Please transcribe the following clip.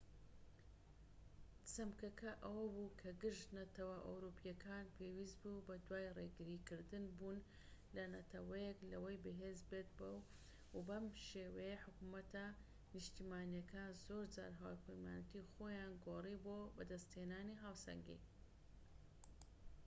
چەمکەکە ئەوە بوو کە گشت نەتەوە ئەوروپیەکان پێویست بوو بەدوای ڕێگری کردن بوون ەل نەتەوەیەک لەوەی بەهێز بێت و بەم شێوەیە حکومەتە نیشتیمانیەکان زۆرجار هاوپەیمانیەتی خۆیان گۆڕی بۆ بەدەست هێنانی هاوسەنگی